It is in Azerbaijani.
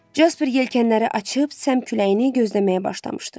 Casper yelkənləri açıb səmt küləyini gözləməyə başlamışdı.